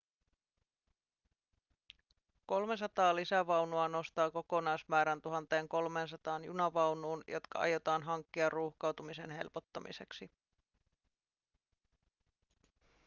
300 lisävaunua nostaa kokonaismäärän 1 300 junavaunuun jotka aiotaan hankkia ruuhkautumisen helpottamiseksi